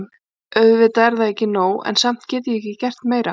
Auðvitað er það ekki nóg, en samt get ég ekki gert meira.